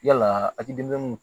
Yalaa a'i denmisɛnninw